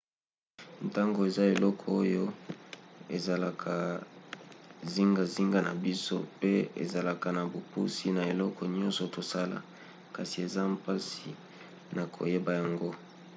ntango eza eloko oyo ezalaka zingazinga na biso pe ezalaka na bopusi na eloko nyonso tosala kasi eza mpasi na koyeba yango